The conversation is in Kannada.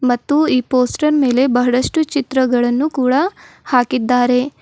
ಮತ್ತು ಈ ಪೋಸ್ಟರ್ ಮೇಲೆ ಬಹಳಷ್ಟು ಚಿತ್ರಗಳನ್ನು ಕೂಡ ಹಾಕಿದ್ದಾರೆ.